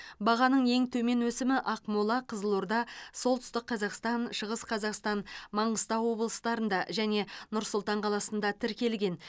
бағаның ең төмен өсімі ақмола қызылорда солтүстік қазақстан шығыс қазақстан маңғыстау облыстарында және нұр сұлтан қаласында тіркелген